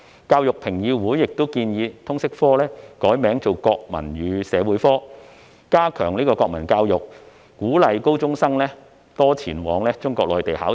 教育評議會其後建議把通識科易名為"國民與社會科"，以加強國民教育，並鼓勵高中生多前往中國內地考察。